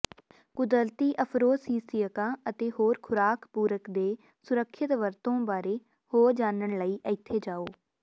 ਕੁਦਰਤੀ ਅਫ਼ਰੋਸੀਸੀਅਕਾਂ ਅਤੇ ਹੋਰ ਖੁਰਾਕ ਪੂਰਕ ਦੇ ਸੁਰੱਖਿਅਤ ਵਰਤੋਂ ਬਾਰੇ ਹੋਰ ਜਾਣਨ ਲਈ ਇੱਥੇ ਜਾਓ